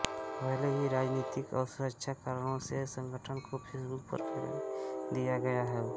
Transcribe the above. भले ही राजनीतिक और सुरक्षा कारणों से संगठन को फेसबुक पर फैलने दिया गया हो